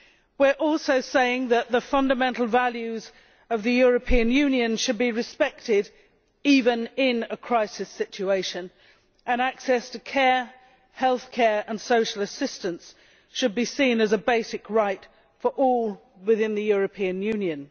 We are also saying that the fundamental values of the European Union should be respected even in a crisis situation, and access to care, healthcare and social assistance should be seen as a basic right for all within the European Union.